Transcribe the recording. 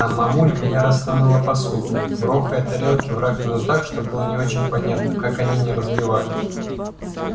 там мамулька яростно мыла посуду грохая тарелки в раковину так что было не очень понятно как они не разбивались